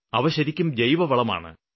അവ ശരിക്കും ജൈവവളമാണ്